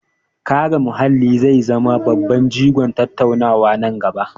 Kare muhalli zai zama babban jigon tattaunawa na gaba.